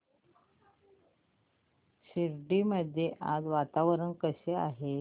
शिर्डी मध्ये आज वातावरण कसे आहे